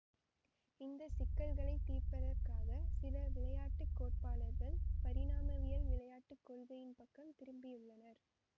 இந்த சிக்கல்களை தீர்ப்பதற்காக சில விளையாட்டு கோட்பாட்டாளர்கள் பரிணாமவியல் விளையாட்டு கொள்கையின் பக்கம் திரும்பியுள்ளனர்